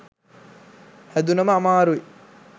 හැදුනම අමාරුයි